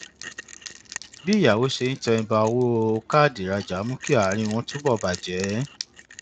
bí ìyàwó rẹ ṣe ń tẹnba owó káàdì ìrajà mú kí àárín wọn túbọ bàjẹ